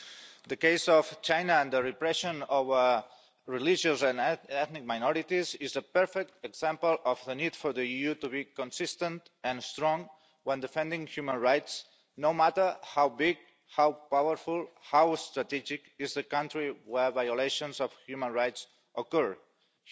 Mr President, the case of China and the repression of religious and ethnic minorities is a perfect example of the need for the EU to be consistent and strong when defending human rights, no matter how big, how powerful or how strategic the country where violations of human rights occur is.